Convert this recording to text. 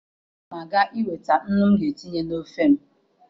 Ana m aga iweta nnu m ga-etinye n'ofe m